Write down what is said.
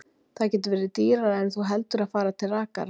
Það getur verið dýrara en þú heldur að fara til rakara.